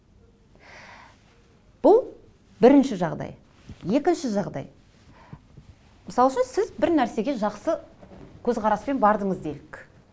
бұл бірінші жағдай екінші жағдай мысал үшін сіз бір нәрсеге жақсы көзқараспен бардыңыз делік